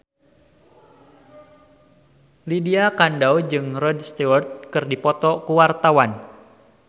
Lydia Kandou jeung Rod Stewart keur dipoto ku wartawan